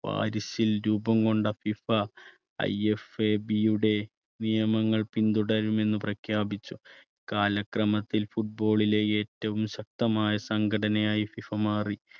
പാരിസിൽ രൂപംകൊണ്ട FIFA IFAB യുടെ നിയമങ്ങൾ പിന്തുടരുമെന്ന് പ്രഖ്യാപിച്ചു കാലക്രമത്തിൽ football ലെ ഏറ്റവും ശക്തമായ സംഘടനയായി ഫിഫ മാറി.